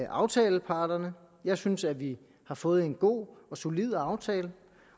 aftaleparterne jeg synes at vi har fået en god og solid aftale